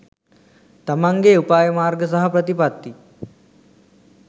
තමන්ගේ උපාය මාර්ග සහ ප්‍රතිපත්ති